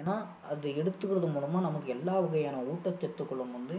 ஏன்னா அதை எடுத்துக்குறது மூலமா நமக்கு எல்லா வகையான ஊட்டச்சத்துகளும் வந்து